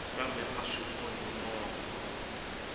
kambe a swi onhi mongo